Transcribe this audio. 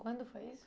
Quando foi isso?